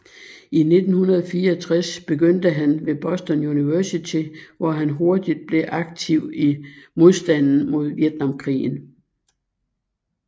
I 1964 begyndte han ved Boston University hvor han hurtigt blev aktiv i modstanden mod Vietnamkrigen